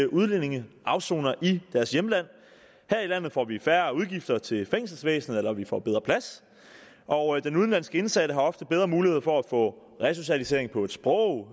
udlændinge afsoner i deres hjemland her i landet får vi færre udgifter til fængselsvæsenet og vi får bedre plads og den udenlandske indsatte har ofte bedre muligheder for at få resocialisering på et sprog